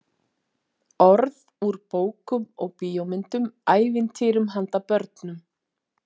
Orð úr bókum og bíómyndum, ævintýrum handa börnum.